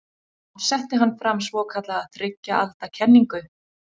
Þá setti hann fram svokallaða þriggja alda kenningu.